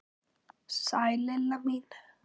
Sæl Lilla mín!